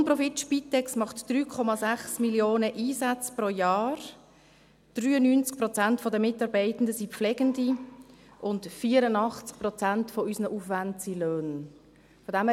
Die Nonprofit-Spitex macht 3,6 Millionen Einsätze pro Jahr, 93 Prozent der Mitarbeitenden sind Pflegende und 84 Prozent unserer Aufwände sind Löhne.